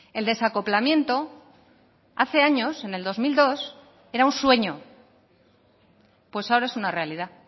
el desacoplamiento hace años en el dos mil dos era un sueño pues ahora es una realidad